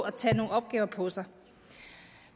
at tage nogle opgaver på sig